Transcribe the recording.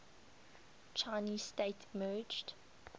chinese state emerged